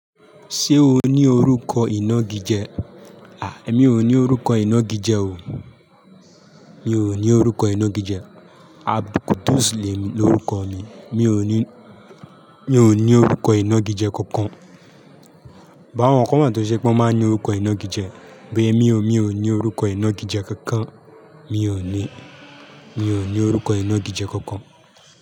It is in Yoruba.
Ṣé o ní orúkọ ìnagijẹ? Àh emi ò ní orúkọ ìnagijẹ o. Mi ò ní orúkọ ìnagijẹ. Abdulqudus lemi, loruko mi mi ò ní, mi ò ní orúkọ ìnagijẹ kankan. But àwọn kan wa tó jẹ pe won máa ń ní orúkọ ìnagijẹ, but emi ò, mi o ní orúkọ ìnagijẹ kankan. Mi ò ní, mi ò ní orúkọ ìnagijẹ kankan.